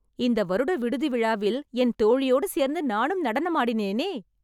இந்த வருட விடுதி விழாவில் என் தோழியோடு சேர்ந்து நானும் நடனமாடினேனே...